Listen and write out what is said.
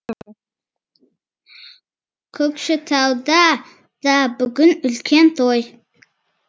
көкшетауда да бүгін үлкен той